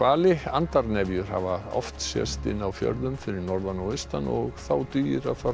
hafa oft sést inni á fjörðum fyrir norðan og austan og þá dugir að fara niður í fjöru